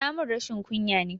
Tamun rashin ƙunya ne